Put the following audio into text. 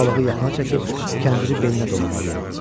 Balığı yaxına çəkib kəndiri belinə dolamalıyam.